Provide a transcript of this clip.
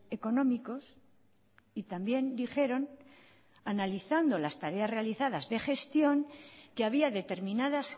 económicos y también dijeron analizando las tareas realizadas de gestión que había determinadas